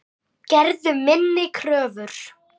Gerðu minni kröfur.